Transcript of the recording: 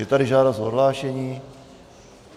Je tady žádost o odhlášení.